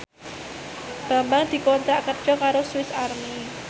Bambang dikontrak kerja karo Swis Army